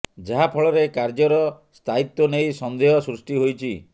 ଯାହା ଫଳରେ କାର୍ଯ୍ୟର ସ୍ଥାୟିତ୍ୱ ନେଇ ସନେ୍ଦହ ସୃଷ୍ଟି ହୋଇଛି